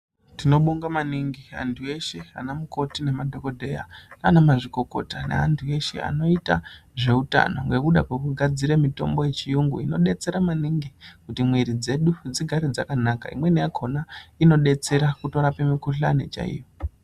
Tinobonga maningi antu eshe anamukoti nemadhokodheya ndaanamazvikokota ndeantu eshe inoite zveutano ngekuda kwekugadzira mitombo yechiyungu inodetsera maningi kuti miiri dzedu dzigare dzakanaka, imweni yakona inodetsera kutorape mukuhlani chaiyo.